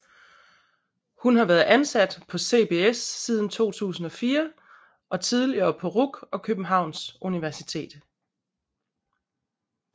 Hun har været ansat på CBS siden 2004 og tidligere på RUC og Københavns Universitet